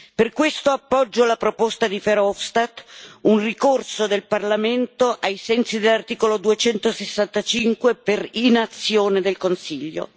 Per questo appoggio la proposta di Verhofstadt un ricorso del Parlamento, ai sensi dell'articolo 265, per inazione del Consiglio.